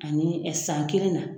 Ani san kelen na.